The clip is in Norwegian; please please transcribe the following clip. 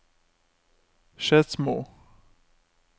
Skedsmo